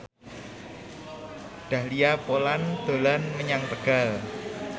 Dahlia Poland dolan menyang Tegal